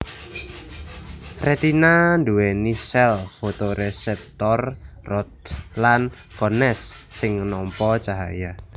Retina nduwèni sèl fotoreseptor rods lan cones sing nampa cahya